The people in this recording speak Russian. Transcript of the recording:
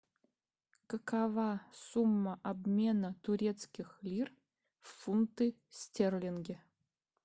какова сумма обмена турецких лир в фунты стерлинги